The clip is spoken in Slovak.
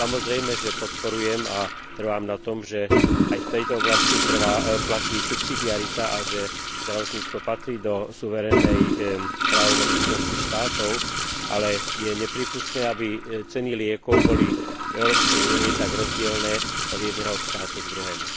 Samozrejme, že podporujem a trvám na tom, že aj v tejto oblasti platí subsidiarita a že zdravotníctvo patrí do suverénnej právomoci členských štátov, ale je neprípustné, aby ceny liekov boli v Európskej únii tak rozdielne od jedného štátu k druhému.